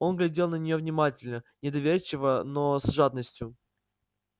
он глядел на неё внимательно недоверчиво но с жадностью